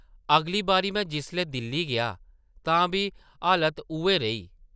अगली बारी में जिसलै दिल्ली गेआ तां बी हालत उʼऐ रेही ।